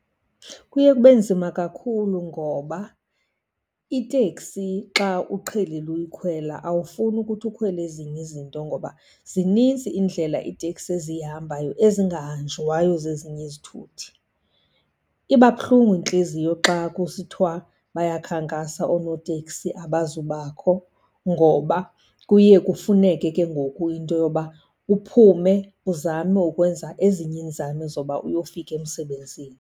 Kuye kube nzima kakhulu ngoba iteksi xa uqhelile uyikhwela awufuni ukuthi ukhwele ezinye izinto, ngoba zinintsi iindlela iiteksi eziyihambayo ezingahanjwayo zezinye izithuthi. Iba buhlungu intliziyo xa kusithwa bayakhankasa oonoteksi abazubakho, ngoba kuye kufuneke ke ngoku into yoba uphume uzame ukwenza ezinye iinzame zoba uyofika emsebenzini.